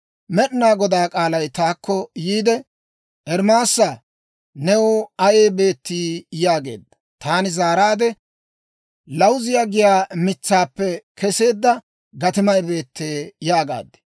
Med'inaa Godaa k'aalay taakko yiide, «Ermaasaa, new ayay beettii?» yaageedda. Taani zaaraadde, «Lawuziyaa giyaa mitsaappe keseedda gatimay beettee» yaagaad.